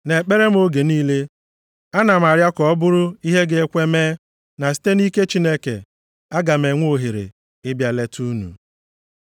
Nʼekpere m oge niile, a na m arịọ ka ọ bụrụ ihe ga-ekwe mee na site nʼike Chineke, aga m enwe ohere ịbịa leta unu.